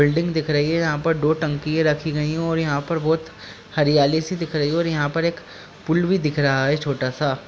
Building दिख रही है। यहाॅं पर दो टंकीये रखी गई हैं और यहाॅं पर बोहोत हरियाली सी दिख रही है और यहाॅं पर एक पुल भी दिख रहा है छोटा सा।